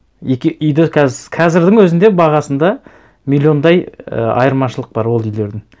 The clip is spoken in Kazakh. екі үйде қазірдің өзінде бағасында миллиондай і айырмашылық бар ол үйлердің